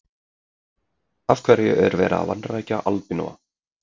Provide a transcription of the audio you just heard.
Af hverju er verið að vanrækja albinóa?